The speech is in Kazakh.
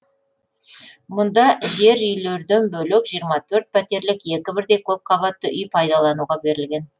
мұнда жер үйлерден бөлек жиырма төрт пәтерлік екі бірдей көпқабатты үй пайдалануға берілген